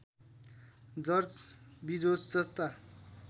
George Bezos जस्ता